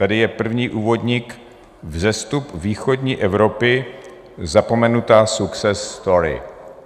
Tady je první úvodník: Vzestup východní Evropy - zapomenutá success story.